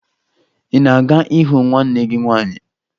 Ị na-aga ịhụ nwanne gị nwaanyị?